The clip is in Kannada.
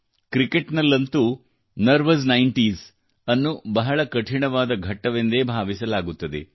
ಕ್ರಿಕೆಟ್ ನಲ್ಲಂತೂ ನರ್ವಸ್ ನೈನ್ಟೀಸ್ ಅನ್ನು ಬಹಳ ಕಠಿಣವಾದ ಘಟ್ಟವೆಂದೇ ಭಾವಿಸಲಾಗುತ್ತದೆ